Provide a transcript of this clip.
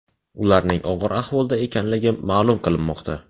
Ularning og‘ir ahvolda ekanligi ma’lum qilinmoqda.